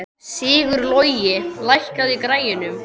Sigurlogi, lækkaðu í græjunum.